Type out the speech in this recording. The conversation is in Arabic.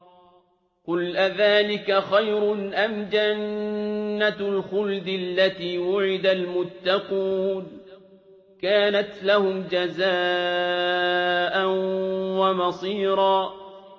قُلْ أَذَٰلِكَ خَيْرٌ أَمْ جَنَّةُ الْخُلْدِ الَّتِي وُعِدَ الْمُتَّقُونَ ۚ كَانَتْ لَهُمْ جَزَاءً وَمَصِيرًا